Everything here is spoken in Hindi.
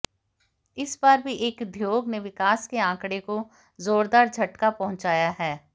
इस बार भी एक उद्योग ने विकास के आंकड़े को जोरदार झटका पहुंचाया है